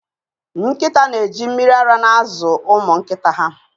Nkịta na-eji mmiri ara na-azụ ụmụ nkịta ha